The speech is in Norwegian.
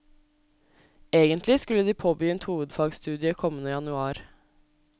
Egentlig skulle de påbegynt hovedfagsstudiet kommende januar.